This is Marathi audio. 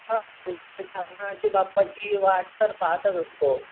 बाप्पाची वाट तर पाहतच असतो.